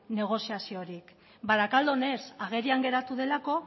negoziaziorik barakaldon ez agerian geratu delako